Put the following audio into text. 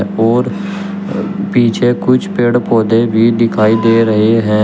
और पीछे कुछ पेड़ पौधे भी दिखाई दे रहे हैं।